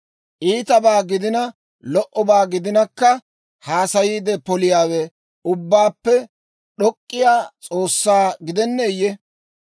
Iitabaa gidina lo"obaa gidinakka, haasayiide poliyaawe Ubbaappe D'ok'k'iyaa S'oossaa gidenneeyye?